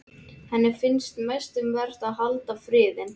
Henni finnst mest um vert að halda friðinn.